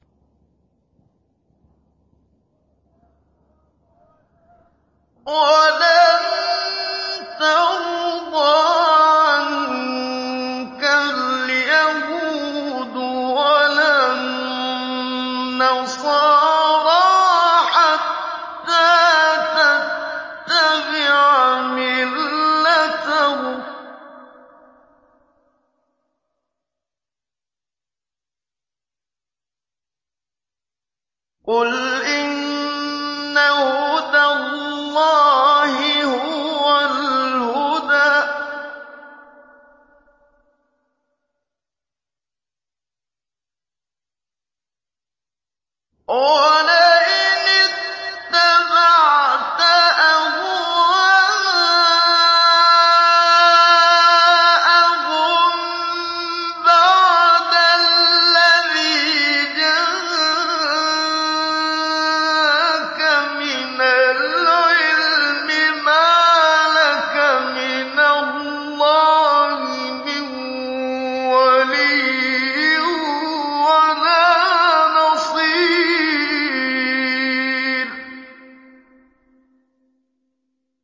وَلَن تَرْضَىٰ عَنكَ الْيَهُودُ وَلَا النَّصَارَىٰ حَتَّىٰ تَتَّبِعَ مِلَّتَهُمْ ۗ قُلْ إِنَّ هُدَى اللَّهِ هُوَ الْهُدَىٰ ۗ وَلَئِنِ اتَّبَعْتَ أَهْوَاءَهُم بَعْدَ الَّذِي جَاءَكَ مِنَ الْعِلْمِ ۙ مَا لَكَ مِنَ اللَّهِ مِن وَلِيٍّ وَلَا نَصِيرٍ